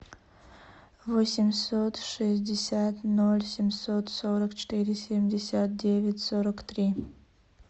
восемьсот шестьдесят ноль семьсот сорок четыре семьдесят девять сорок три